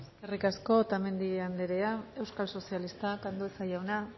eskerrik asko otamendi andrea euskal sozialistak andueza jauna